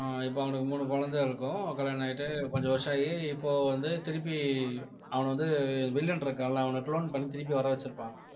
ஆஹ் இப்ப அவனுக்கு மூணு குழந்தை இருக்கும் கல்யாணம் ஆயிட்டு கொஞ்சம் வருஷம் ஆகி இப்போ வந்து திருப்பி அவன வந்து வில்லன் இருக்கான்ல அவனை clone பண்ணி திருப்பி வர வச்சிருப்பாங்க